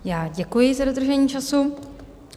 Já děkuji za dodržení času.